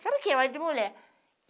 Sabe o que é marido e mulher?